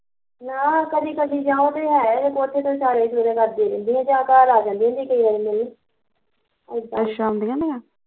ਨਾ ਕਦੀ ਕਦੀ ਜਾਂ ਉਹ ਤੇ ਹੈ ਕੋਠੇ ਤੇ ਇਸ਼ਾਰੇ ਉਸ਼ਰੇ ਕਰਦੀਆ ਰਹਿੰਦੀਆਂ ਜਾਂ ਘਰ ਆ ਜਾਂਦੀਆ ਹੁੰਦੀਆ ਕਈ ਵਾਰੀ ਮਿਲਣ ਏਦਾਂ